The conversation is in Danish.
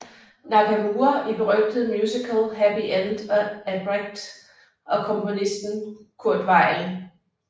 Nakamura i berygtede musical Happy End af Brecht og komponisten Kurt Weill